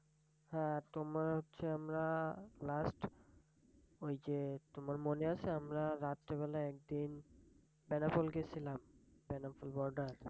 হ্যাঁ, তোমার হচ্ছে আমরা last ওই যে তোমার মনে আছে আমরা রাত্রেবেলা একদিন বেনাপোল গেছিলাম বেনাপোল বর্ডার?